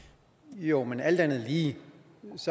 jo men alt andet lige